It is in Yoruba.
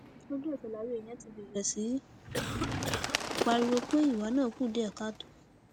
ojúẹsẹ làwọn èèyàn ti bẹrẹ sí í pariwo pé ìwà náà kù díẹ káàtó